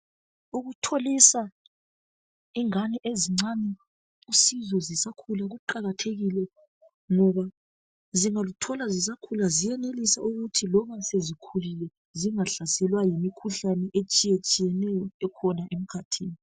Ukutholisa ingane ezincane usizo zisakhula kuqakathekile ngoba zingaluthola zisakhula ziyenelisa ukuthi noma sezikhulile zingahlaselwa yimikhuhlane etshiyetshiyeneyo ekhona emkhathini.